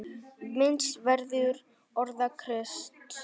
Minnst verður orða Krists.